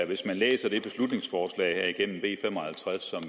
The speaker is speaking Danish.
hvis man læser det beslutningsforslag b fem og halvtreds som